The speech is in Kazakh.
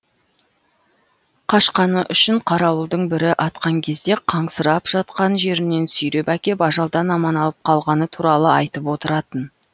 қашқаны үшін қарауылдың бірі атқан кезде қансырап жатқан жерінен сүйреп әкеп ажалдан аман алып қалғаны туралы айтып отыратын